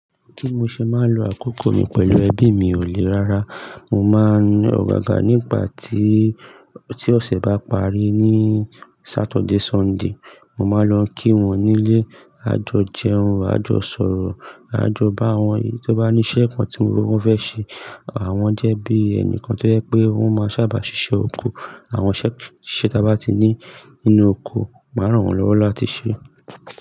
Ti mo ṣe máa ń lo àkókò mi pẹ̀lú ẹbí mi ò le rárá. Mo máa ń ogaga nígbà tí, tí ọ̀sẹ̀ bá parí ní Saturday, Sunday. Mo máa ń lọ kí wọ́n nílé, a jọ jẹun, a jọ sọ̀rọ̀, a jọ bá wọn, èyí tó bá ní iṣẹ́ kan tí mo mọ pé wọ́n fẹ́ ṣe, àwọn jẹ́ bí ẹni kan tó jẹ́ pé wọ́n máa sábà ṣiṣẹ́ oko. Àwọn iṣẹ́ tí a bá ti ní nínú oko, màá ràn wọ́n lọ́wọ́ láti ṣe.